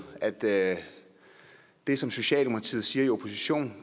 at det det som socialdemokratiet siger i opposition